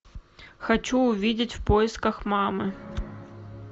хочу увидеть в поисках мамы